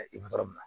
i ma yɔrɔ min na